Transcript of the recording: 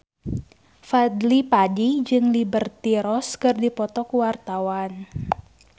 Fadly Padi jeung Liberty Ross keur dipoto ku wartawan